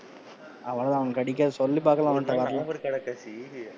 அவ்வளவு தான் அவனுக்கு கிடைக்காது சொல்லி பாக்கலாம் அவன்ட சசி,